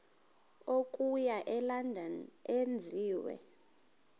okuya elondon enziwe